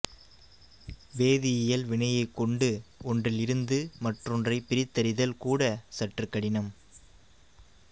வேதியியல் வினையைக் கொண்டு ஒன்றில் இருந்து மற்றொன்றைப் பிரித்தறிதல் கூட சற்றுக் கடினம்